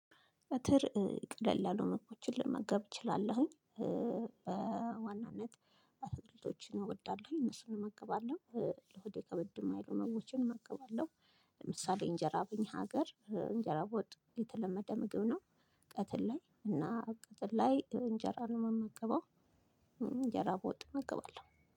ቀትር ቀለል ያሉ ምግቦችን ልመገብ እችላለሁኝ በዋናነት አትክልቶችን እወዳለሁኝ እነሱን እመገባለሁ። ለሆድ ከበድ ማይሉ ምግቦችን እመገባለሁ። ለምሳሌ እንጀራ በኛ ሀገር እንጀራ በወጥ የተለመደ ምግብ ነው። ቀትር ላይ እና ቀትር ላይ እንጀራ ነው የምመገበው። እንጀራ በወጥ እመገባለሁ